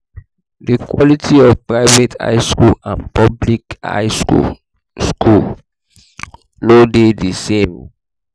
di quality of private high school and public high school school no de di same